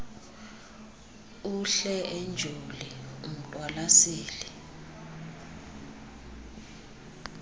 uhle enjoli umqwalaseli